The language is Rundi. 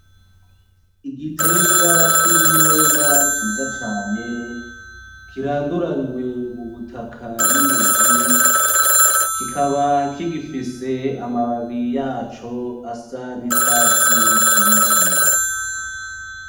Igiterwa c'ibiyoba ciza cane kiranduranywe mu butaka n'imizi, kikaba kigifise amababi yaco asa n'icatsi kibisi.